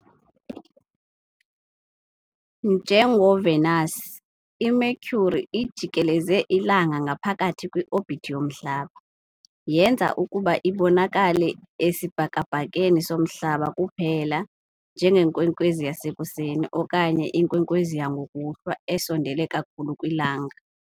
NjengoVenus, iMercury ijikeleza iLanga ngaphakathi kwi-orbit yomhlaba, yenza ukuba ibonakale esibhakabhakeni soMhlaba kuphela "njengenkwenkwezi yasekuseni" okanye "inkwenkwezi yangokuhlwa" esondele kakhulu kwiLanga.